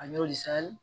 A yɔrɔ le sira